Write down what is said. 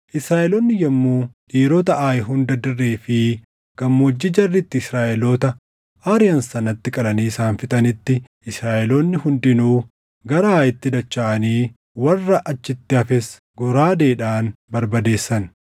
Israaʼeloonni yommuu dhiirota Aayi hunda dirree fi gammoojjii jarri itti Israaʼeloota ariʼan sanatti qalanii isaan fixanitti, Israaʼeloonni hundinuu gara Aayitti dachaʼanii warra achitti hafes goraadeedhaan barbadeessan.